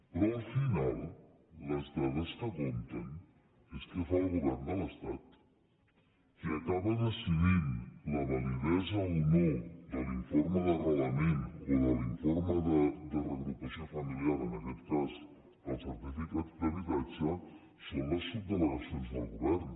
però al final les dades que compten és què fa el govern de l’estat qui acaba decidint la va·lidesa o no de l’informe d’arrelament o de l’informe de reagrupament familiar en aquest cas del certificat d’habitatge són les subdelegacions del govern